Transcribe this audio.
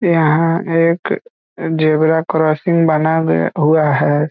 यहां एक zebra crossing बना भी हुआ है।